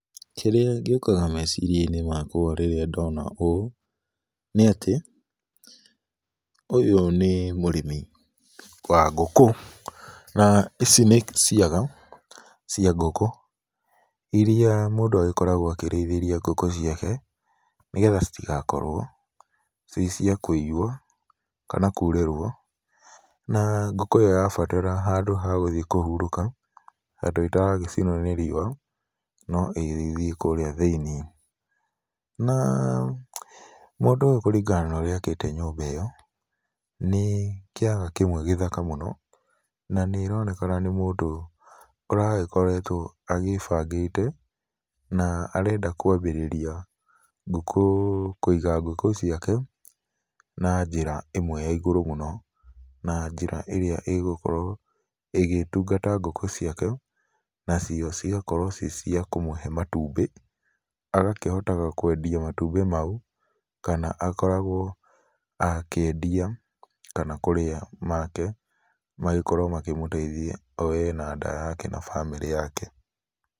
Kĩrĩa gĩũkaga meciria-inĩ makwa rĩrĩa ndona ũũ, nĩ atĩ ũyũ nĩ mũrĩmi wa ngũkũ na ici nĩ ciaga cia ngũkũ iria mũndũ agĩkoragwo akĩrĩithiria ngũkũ ciake nĩgetha citigakorwo ciĩ cia kũiywo, kana kurĩrwo. Na ngũkũ ĩyo yabatara handũ ha gũthiĩ kúhurũka, handũ ĩtaragĩcinwo nĩ riũa no ĩgĩthiĩ kũrĩa thĩniĩ. Na mũndũ uyũ kũringana na ũrĩa akite nyũmba ĩyo, nĩ kĩaga kĩmwe gĩthaka mũno, na nĩ kuronekana nĩ mũndu uragĩkoretwo agĩĩbangĩte. Na arenda kwambĩrĩria ngũkũ kũiga ngũkũ ciake na njĩra ĩmwe ya igũrũ mũno, na njĩra ĩrĩa ĩgũkorwo ĩgĩtungata ngũkũ ciake. Na cio cigakorwo ciĩ cia kũmũhe matumbĩ agakĩhotaga kwendia matumbĩ mau kana akoragwo akĩendia kana kũrĩa make magĩkorwo makĩmũteithia o we na nda yake na bamĩrĩ yake.